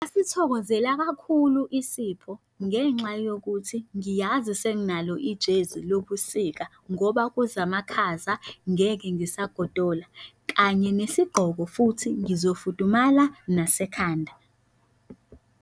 Ngasithokozela kakhulu isipho ngenxa yokuthi ngiyazi senginalo ijezi lobusika ngoba kuza amakhaza ngeke ngisagodola kanye nesigqoko futhi ngizofunda nasekhanda.